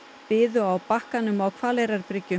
biðu á bakkanum á